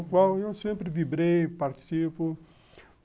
O qual eu sempre vibrei, participo.